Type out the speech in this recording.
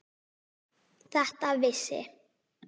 Þetta vissi